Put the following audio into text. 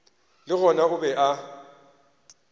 le gona o be a